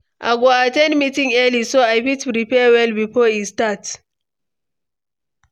I go at ten d meetings early, so I fit prepare well before e start.